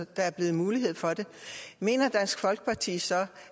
der bliver mulighed for det mener dansk folkeparti så